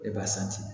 E b'a